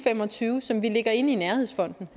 fem og tyve som vi lægger ind i nærhedsfonden